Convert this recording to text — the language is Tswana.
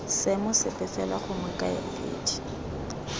seemo sepe fela gongwe kaedi